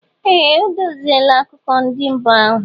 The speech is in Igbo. Ee! O deziela akụkọ ndị mbụ ahụ.